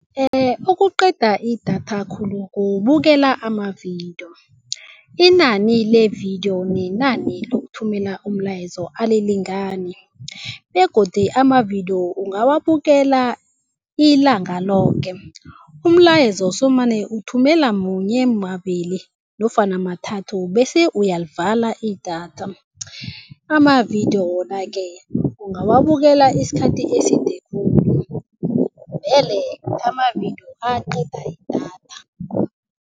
Okuqeda idatha khulu kubukela amavidiyo. Inani le vidiyo nenani lokuthumela umlayezo alilingani begodu amavidiyo ungawabukela ilanga loke. Umlayezo somane uthumela munye, mabili nofana mathathu bese uyalivala idatha. Amavidiyo wona-ke ungawabukela isikhathi eside khulu vele amavidiyo aqeda idatha.